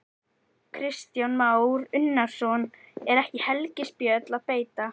Kristján Már Unnarsson: Er ekki helgispjöll að beita?